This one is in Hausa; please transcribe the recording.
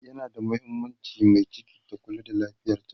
yana da mahimmaanci Mai ciki ta Kula da lafiyarta